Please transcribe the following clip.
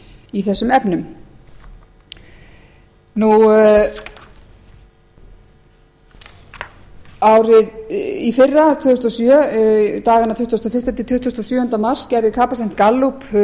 í þessum efnum árið í fyrra tvö þúsund og sjö dagana tuttugasta og fyrsti til tuttugasta og sjöunda mars gerði gallup